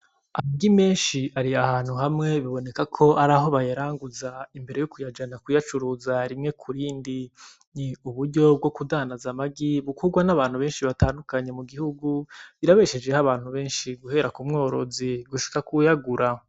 Amagi menshi ari ahantu hamwe, biboneka ko araho bayaranguza imbere yo kuyajana kuyacuruza rimwe ku rindi, ni uburyo bwo kudandaza amagi bukogwa n'abantu benshi batandukanye mu gihugu, birabeshejeho abantu benshi guhera ku mworozi gushika k'uwuyagura.